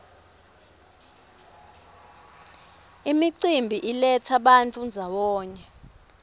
imicimbi iletsa bantfu ndzawonye